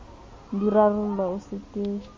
di rarollwa o se ke